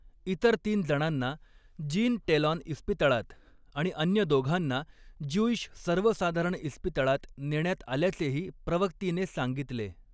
इतर तीन जणांना जीन टेलॉन इस्पितळात आणि अन्य दोघांना ज्युईश सर्वसाधारण इस्पितळात नेण्यात आल्याचेही प्रवक्तीने सांगितले.